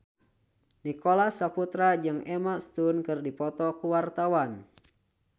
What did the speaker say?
Nicholas Saputra jeung Emma Stone keur dipoto ku wartawan